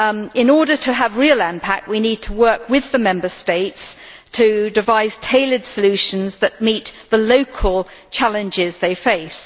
In order to have real impact we need to work with the Member States to devise tailored solutions that meet the local challenges they face.